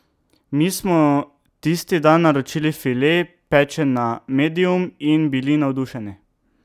Mi smo tisti dan naročili file, pečen na medium, in bili navdušeni.